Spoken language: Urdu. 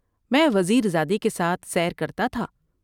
میں وزیر زادے کے ساتھ سیر کرتا تھا ۔